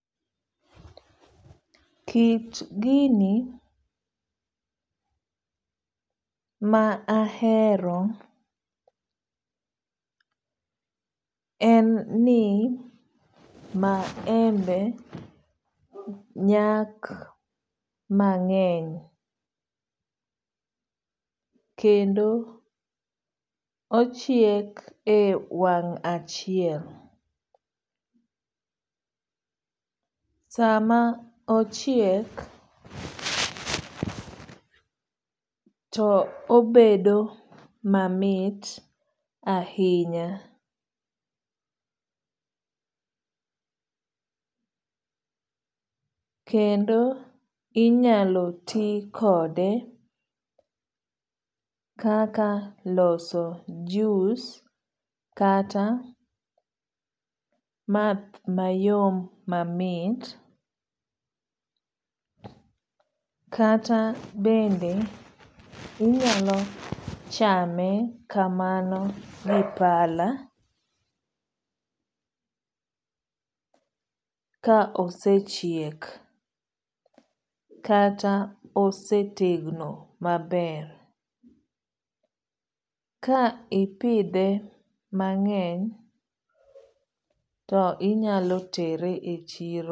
Kit gini ma ahero en ni maembe nyak mang'eny kendo ochiek e wang' achiel. Sama ochiek, to obedo mamit ahinya. Kendo inyalo ti kode kaka loso jus kata math mayom mamit. Kata bende inyalo chame kamano gi pala ka osechiek kata osetegno maber. Ka ipidhe mang'eny to inyalo tere e chiro.